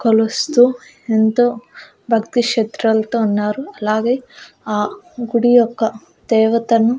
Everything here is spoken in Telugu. కలుస్తూ ఎంతో భక్తి శత్రలతో ఉన్నారు అలాగే ఆ గుడి యొక్క దేవతను.